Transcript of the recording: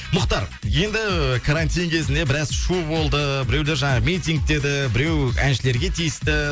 мұхтар енді карантин кезінде біраз шу болды біреулер жаңағы митинг деді біреу әншілерге тиісті